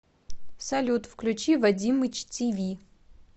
салют включи вадимыч ти ви